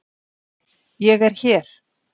ÉG ER HÉR!